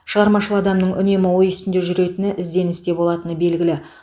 шығармашыл адамның үнемі ой үстінде жүретіні ізденісте болатыны белгілі